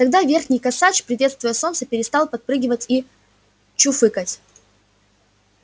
тогда верхний косач приветствуя солнце перестал подпрыгивать и чуфыкать